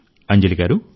అంజలి గారు